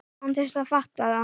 Án þess að fatta það.